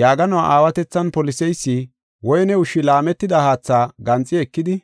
Yaaganuwa aawatethan poliseysi woyne ushshi laametida haatha ganxi ekidi